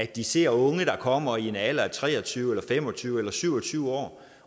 de ser unge der kommer i en alder af tre og tyve år fem og tyve år eller syv og tyve år